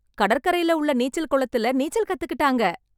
கடற்கரைல உள்ள நீச்சல் குளத்தில் நீச்சல் கத்துக்கிட்டாங்க.